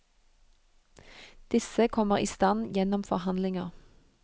Disse kommer i stand gjennom forhandlinger.